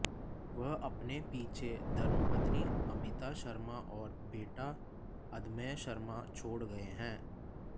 वह अपने पीछे धर्मपत्नी अमिता शर्मा और बेटा अदम्य शर्मा छोड़ गए हैं